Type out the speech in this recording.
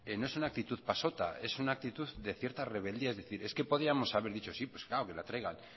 no es una actitud pasota es una actitud de cierta rebeldía y dice es que podíamos dicho sí pues claro que la traigan